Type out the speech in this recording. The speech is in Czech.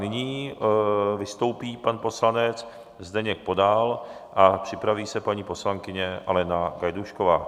Nyní vystoupí pan poslanec Zdeněk Podal a připraví se paní poslankyně Alena Gajdůšková.